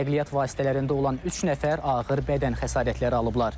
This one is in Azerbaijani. Nəqliyyat vasitələrində olan üç nəfər ağır bədən xəsarətləri alıblar.